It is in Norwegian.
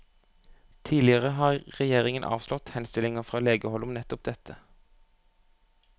Tidligere har regjeringen avslått henstillinger fra legehold om nettopp dette.